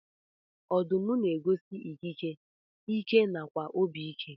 Ọdụm na egosi ikike, ike nakwa obi ike.